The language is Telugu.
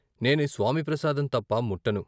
నేను ఈ స్వామి ప్రసాదం తప్ప ముట్టను.